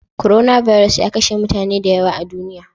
Coronavirus ya kashe mutane da yawa a duniya.